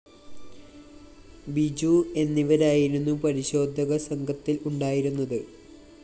ബിജു എന്നിവരായിരുന്നു പരിശോധക സംഘത്തില്‍ ഉണ്ടായിരുന്നത്